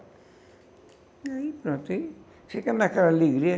E aí, pronto, ficamos naquela alegria.